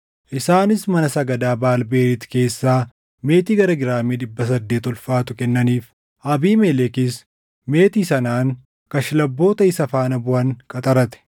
Isaanis mana sagadaa Baʼaal Beriit keessaa meetii gara giraamii dhibba saddeet ulfaatu kennaniif; Abiimelekis meetii sanaan kashlabboota isa faana buʼan qaxarate.